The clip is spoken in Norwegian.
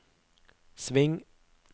sving